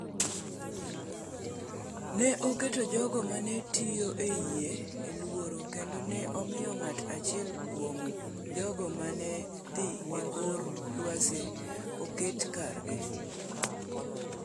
Ne oketo jogo ma ne tiyo e yie e luoro kendo ne omiyo ng’at achiel kuom jogo ma ne dhi e kor lwasi oket kargi.